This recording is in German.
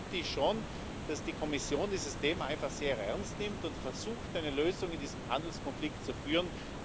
Deswegen bitte ich schon, dass die Kommission dieses Thema einfach sehr ernst nimmt und versucht, eine Lösung in diesem Handelskonflikt zu finden.